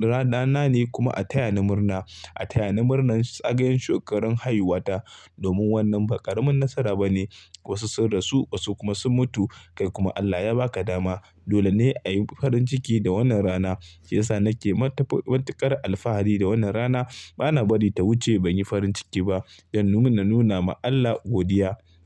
rana na ne kuma a taya ni murna. A taya ni murna zagayon shekarun haihuwata domin wannan ba ƙaramin nasara ba ne. Wasu sun rasu wasu kuma sun mutu kai kuma Allah ya ba ka dama. Dole ne a yi farin ciki da wannan rana. Shi yasa nake matuƙar alfahari da wannan rana. Bana bari ta wuce ban yi farin ciki ba don mun nuna ma Allah godiya.